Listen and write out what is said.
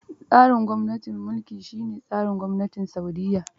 Tsarin gwamnatin mulki shi ne tsarin gwamnatin Sa'udiyya